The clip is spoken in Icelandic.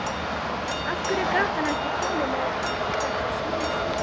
Af hverju gat hann ekki komið með þetta smám saman?